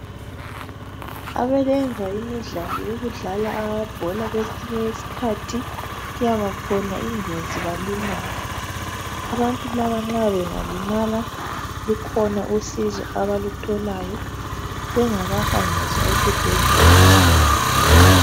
Abayenza imidlalo yokudlala amabhola kwesinye isikhathi kuyabakhona ingozi balimale. Abantu laba nxa bengalimala lukhona usizo abalutholayo bengakahanjiswa esibhedlela.